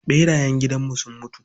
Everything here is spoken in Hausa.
ɓerayen gidanmu sun mutu.